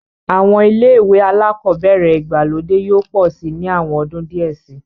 Àwọn ilé-ìwé alákọ̀ọ́bẹ̀ẹ̀rẹ̀ ìgbàlódé yóò pọ̀ síi ní àwọn ọdún díẹ̀ síi.